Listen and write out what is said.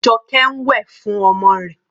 Joke ń wẹ̀ fún ọmọ rẹ̀.